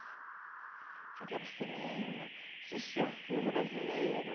Tinha que ir para o cinema, assistir filme brasileiro.